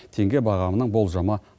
теңге бағамының болжамы